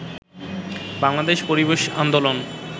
বাংলাদেশ পরিবেশ আন্দোলন